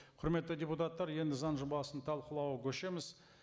құрметті депутаттар енді заң жобасын талқылауға көшеміз